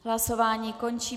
Hlasování končím.